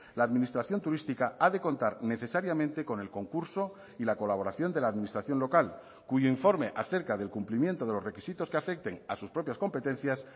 la administración turística ha de contar necesariamente con el concurso y la colaboración de la administración local cuyo informe acerca del cumplimiento de los requisitos que afecten a sus propias competencias